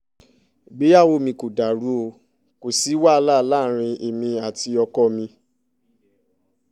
ìgbéyàwó mi kò dàrú o kò sí wàhálà láàrin èmi àti ọkọ mi